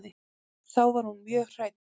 Þá var hún mjög hrædd.